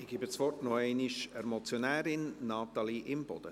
Ich gebe das Wort noch einmal der Motionärin, Natalie Imboden.